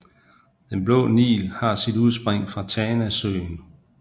Den Blå Nil har sit udspring fra Tanasøen